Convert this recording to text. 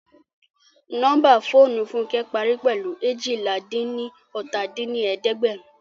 Nọ́mbà fóònù Fúnkẹ́ parí pẹ̀lú eéjìlá-dín-ní-ọ́ta dín ní ẹ̀ẹ́dẹ́gbẹ́run